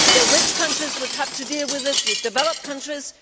The rich countries would have to deal with it the developed countries.